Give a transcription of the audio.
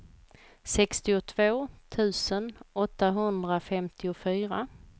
sextiotvå tusen åttahundrafemtiofyra